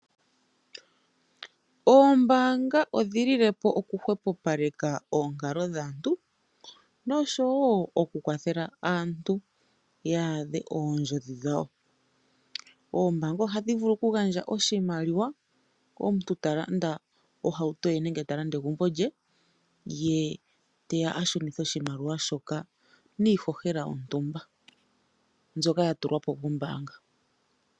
Oombanga odhili li lepo oku hwepo paleka oonkalo dhaantu noshowo oku kwathela aantu yadhe ondjodhi dhawo. Oombanga odhili vulu oku gandja oshimaliwa komuntu ta landa ohauto ye nenge omuntu ta landa egumbo lye, ye teya ashunithe oshimaliwa shoka niihohela yontumba mbyoka ya tulwapo kombanga.